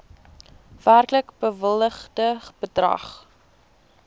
werklik bewilligde bedrag